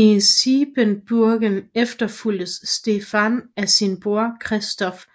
I Siebenbürgen efterfulgtes Stefan af sin bror Kristofer